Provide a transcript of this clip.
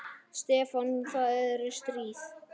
Stefán, það er stríð.